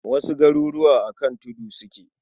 Wasu garuruwa a kan tudu suke.